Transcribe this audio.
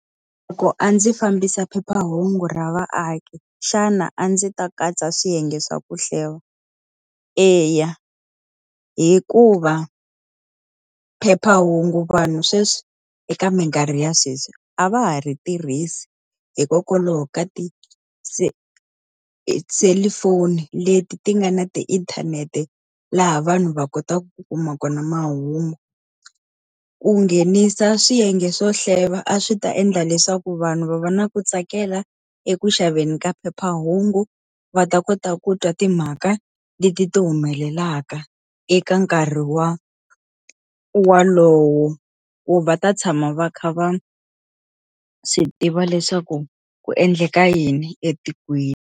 Loko a ndzi fambisa phephahungu ra vaaki xana a ndzi ta katsa swiyenge swa ku hleva? Eya. Hikuva phephahungu vanhu sweswi eka minkarhi ya sweswi, a va ha ri tirhisi hikokwalaho ka ti-cellphone leti ti nga na ti inthanete laha vanhu va kotaku ku kuma kona mahungu. Ku nghenisa swiyenge swo hleva a swi ta endla leswaku vanhu va va na ku tsakela eku xaveni ka phephahungu, va ta kota ku twa timhaka leti ti humelelaka eka nkarhi walowo. Ku va ta tshama va kha va swi tiva leswaku ku endleka yini etikweni.